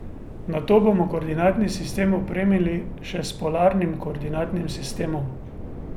Nato bomo koordinatni sistem opremili še s polarnim koordinatnim sistemom.